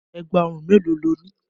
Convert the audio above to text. Ẹ̀gbà òrun mélòó lo ní?